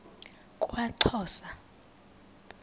kwaxhosa